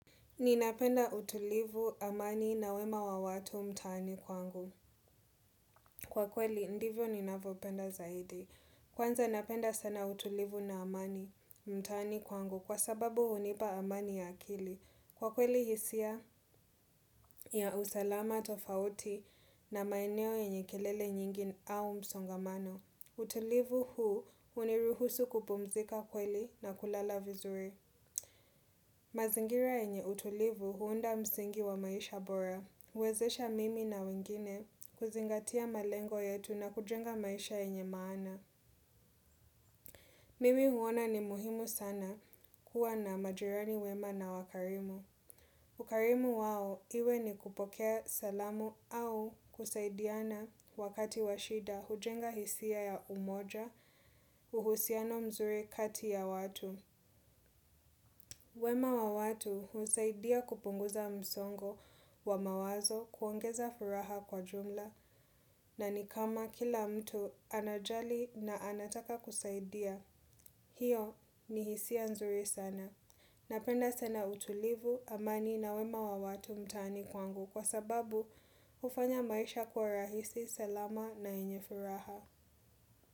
Ninapenda utulivu amani na wema wa watu mtani kwangu. Kwa kweli, ndivyo ninavyopenda zaidi. Kwanza napenda sana utulivu na amani mtani kwangu kwa sababu hunipa amani ya akili. Kwa kweli, hisia ya usalama tofauti na maeneo enye kelele nyingi au msongamano. Utulivu huu uniruhusu kupumzika kweli na kulala vizure. Mazingira yenye utulivu huunda msingi wa maisha bora. Huwezesha mimi na wengine kuzingatia malengo yetu na kujenga maisha yenye maana. Mimi huona ni muhimu sana kuwa na majirani wema na wakarimu. Ukarimu wao iwe ni kupokea salamu au kusaidiana wakati washida hujenga hisia ya umoja uhusiano mzuri kati ya watu. Wema wa watu husaidia kupunguza msongo wa mawazo kuongeza furaha kwa jumla na ni kama kila mtu anajali na anataka kusaidia. Hiyo ni hisia nzuri sana. Napenda sana utulivu amani na wema wa watu mtani kwangu kwa sababu hufanya maisha kwa rahisi salama na yenye furaha.